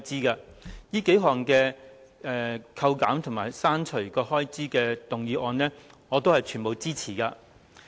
對於這數項扣減和刪除有關開支的修正案，我全部支持。